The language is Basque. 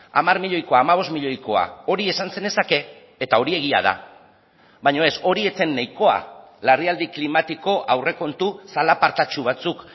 hamar milioikoa hamabost milioikoa hori esan zenezake eta hori egia da baina ez hori ez zen nahikoa larrialdi klimatiko aurrekontu zalapartatsu batzuk